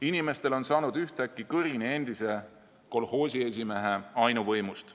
Inimestel on saanud ühtäkki kõrini endise kolhoosiesimehe ainuvõimust.